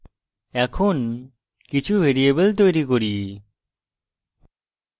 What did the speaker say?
এখন কিছু ভ্যারিয়েবল তৈরী করি